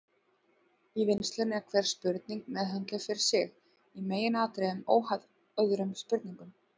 Í vinnslunni er hver spurning meðhöndluð fyrir sig, í meginatriðum óháð öðrum spurningum.